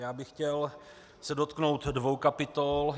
Já bych se chtěl dotknout dvou kapitol.